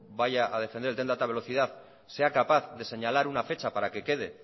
vaya a defender el tren de alta velocidad sea capaz de señalar una fecha para que quede